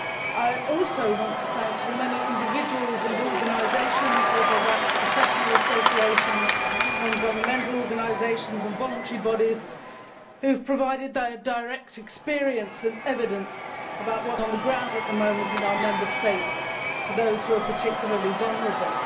I also want to thank the many individuals and organisations whether professional associations, non governmental organisations or voluntary bodies that have provided their direct experience and evidence about what is happening on the ground at the moment in our Member States to those who are particularly vulnerable.